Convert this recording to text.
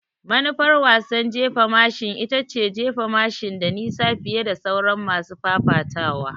Manufar wasan jefa mashin ita ce jefa mashin da nisa fiye da sauran masu fafatawa.